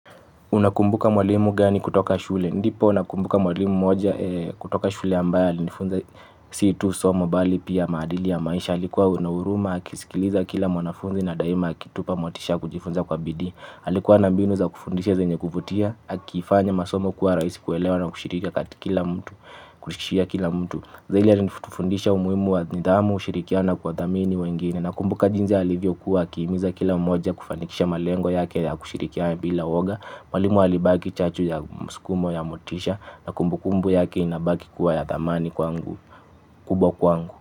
Unakumbuka mwalimu gani kutoka shule. Ndipo unakumbuka mwalimu moja kutoka shule ambayo alinifunza C2 somo bali pia maadili ya maisha. Alikuwa unahuruma, akisikiliza kila mwanafunzi na daima akitupa motisha kujifunza kwa bidii. Alikuwa anambinu za kufundisha zenye kuvutia, akifanya masomo kuwa rahisi kuelewa na kushiriki katika kila mtu, kushirikia kila mtu. Zahidi ya nifutufundisha umuhimu wa nidhamu, ushirikiano kwa thamini wengine na kumbuka jinsi ya alivyo kuwa akiimiza kila umoja kufanikisha malengo yake ya kushirikia bila woga, mwalimu alibaki chachu ya musukumo ya motisha na kumbukumbu yake inabaki kuwa ya thamani kubwa kwangu.